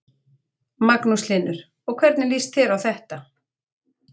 Magnús Hlynur: Og hvernig líst þér á þetta?